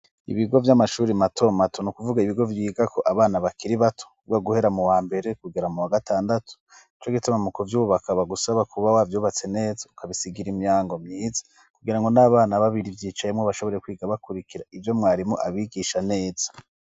Ibigo by'amashuri mato mato kuvuga ibigo vyiga ko abana bakiri bato ubga guhera mu wa mbere kugera mu wa gatandatu co gituma mu kuvyubakaba gusaba kuba wabyubatse neza ukabisigira imihango myiza kugira ngo n'abana babiri byicayemo bashobore kwiga bakurikira ibyo mwarimu abigisha neza.